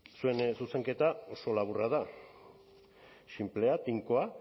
zuen zuzenketa oso laburra da sinplea tinkoa